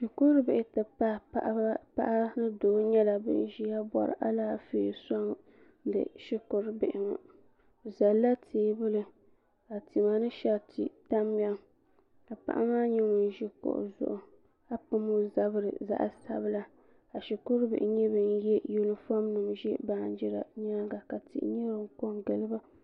shikuru bihi ti pahi paɣa ni doo nyɛla bin ʒiya bɔri Alaafee soŋdi bi shikuru bihi ŋɔ bi zalla teebuli ka tima ni shɛriti tamya ka paɣa maa nyɛ ŋun ʒi kuɣu zuɣu ka pam o zabiri zaɣ sabila ka shikuru bihi nyɛ bin yɛ yunifom nim ʒi baanjira nyaanga ka tihi ŋɔ n ku kɔ n giliba